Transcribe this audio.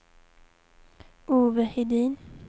Ove Hedin